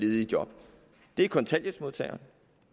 ledige job det er kontanthjælpsmodtagerne